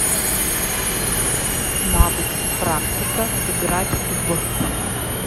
навык практика играть в